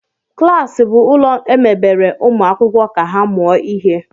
Klas bụ ụlọ emebere ụmụ akwụkwọ ka ha mụọ ihe